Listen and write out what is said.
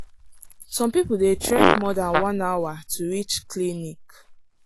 some people dey trek more than one hour to reach clinic.